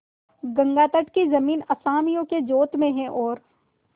गंगातट की जमीन असामियों के जोत में है और